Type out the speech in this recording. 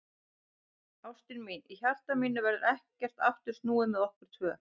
Ástin mín, í hjarta mínu verður ekkert aftur snúið með okkur tvö.